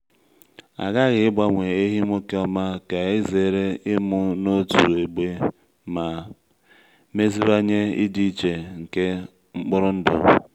a ghaghị igbanwe ehi nwoke ọma ka e zere ịmụ n’otu egbe ma meziwanye ịdị iche nke mkpụrụ ndụ.